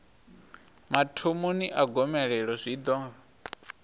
mathomoni a gomelelo zwi ḓo